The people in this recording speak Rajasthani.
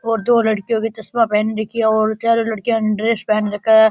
और दो लड़कियों ने चस्मा पेहेन रखो है और चारो लड़कियों ने ड्रेस पहन रखा है।